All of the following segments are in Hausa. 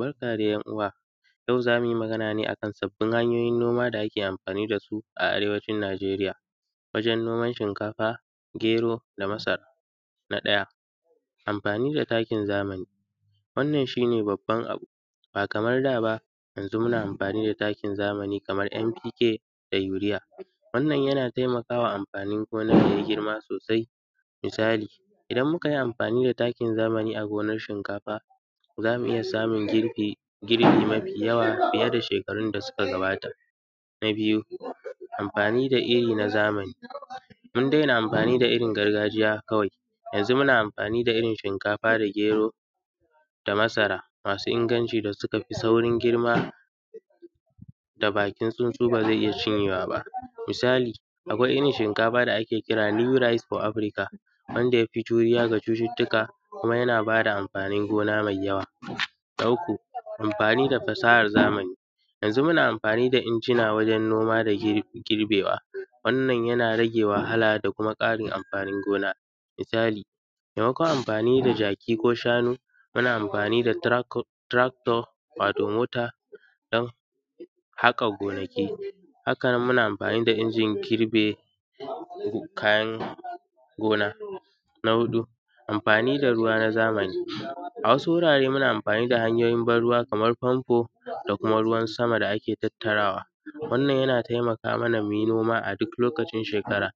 Barka dai ‘yanuwa, yau zamu yi magana akan tsafin hanyoyin noma da ake amfani da su a Arewacin Nigeriya wajen noman shinkafa, gero da masara, na ɗaya amfani da takin zamani, wannan shi ne babban abu ba kamar da ba yanzu muna amfani da takin zamani kamar NPK da Urea, wannan yana taimaka wa amfanin gona ya yi girma sosai misali idan muka yi amfani da takin zamani a gonan shinkafa zamu iya samun girbi mafi yawa fiye da shekarun da suka gabata, na biyu amfani da iri na zamani mun daina amfani da irin gargajiya kawai yanzu muna amfani da irin shinkafa da gero da masara masu inganci da suka fi saurin girma da bakin tsunsu da ba zai iya cinyewa ba misali akwai irin shinkafa da ake kira new rice for Africa wanda yafe juriya ga cututtuka kuma yana bada amfanin gona mai yawa, na uku amfani da fasahar zamani, yanzu muna amfani da injina wajen noma da girbewa wannan yana rage wahala da kuma karin amfanin gona, misali maimakon amfani da jaki ko shanu muna amfani da tractor wato motan hakan gonaki, haka nan muna amfani da injin girbe kayan gona, na huɗu amfani da ruwa na zamani, a wasu wurare muna amfani da hanyoyin ban ruwa kamar su ban ruwa fanfo da kuma ruwan sama da ake tattarawa, wannan yana taimaka ma muyi noma a duk lokacin shekara,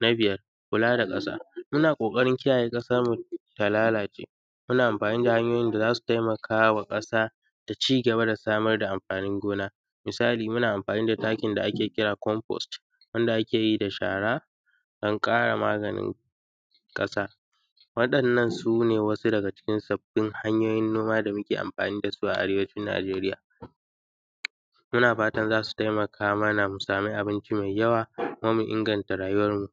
na biyar kula da kasa muna kokarin kiyaye kasa ta lalace muna amfani da hanyoyin da zasu taikamaka wa ƙasa ta cigaba da samar amfanin gona misali muna amfani da takin da ake kira combust wanda ake yi da shara don kara maganin kasa, waɗannan sune wasu daga cikin sabbin hanyoyin noma da muke amfani da su a Arewacin Nijeriya, muna fatan zasu taimaka mana mu samu abinci mai yawa don mu inganta rayuwanmu.